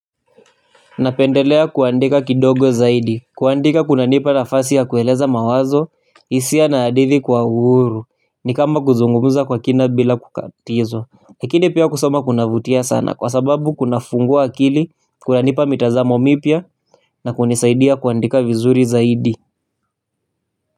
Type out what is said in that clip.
Napendelea kuandika kidogo zaidi, kuandika kuna nipa nafasi ya kueleza mawazo, hisia na hadithi kwa uhuru, ni kama kuzungumza kwa kina bila kukatizwa. Lakini pia kusoma kunavutia sana kwa sababu kuna fungua akili, kuna nipa mitazamo mipya, na kunisaidia kuandika vizuri zaidi.